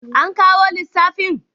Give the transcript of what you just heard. An kawo lissafin?